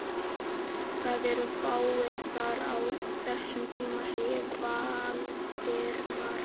Það eru fáir þar á þessum tíma sagði Valdimar.